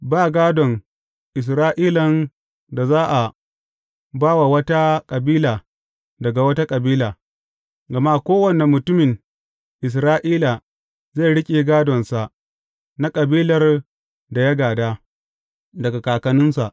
Ba gādon Isra’ilan da za a ba wa wata kabila daga wata kabila, gama kowane mutumin Isra’ila zai riƙe gādonsa na kabilar da ya gāda daga kakanninsa.